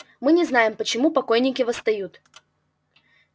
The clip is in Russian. мы не знаем почему покойники восстают